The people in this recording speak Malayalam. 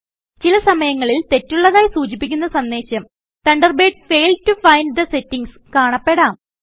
ചില സമയങ്ങളിൽ തെറ്റുള്ളതായി സൂചിപ്പിക്കുന്ന സന്ദേശം Thunderbird failed to find the settings കാണപ്പെടാം